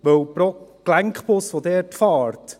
Denn pro Gelenkbus, der dort fährt …